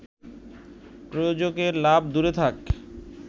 প্রযোজকের লাভ দূরে থাক